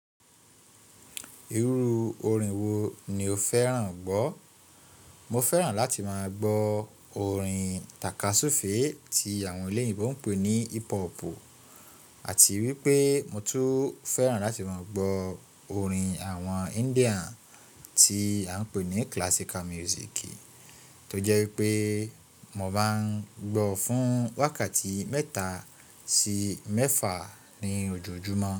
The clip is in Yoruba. Irú orin wo ni o fẹ́ràn gbọ́? Mo fẹ́ràn láti máa gbọ́ orin tàkasúfèé tí àwọn eléèbó ń pè ní hip hop, àti wípé mo tún fẹ́ràn láti máa gbọ́ orin àwọn India tí a ń pè ní classical music, tó jẹ́ wípé mo máa ń gbọ́ fún wákàtí mẹ́ta sí mẹ́fà ní ojoojúmọ́.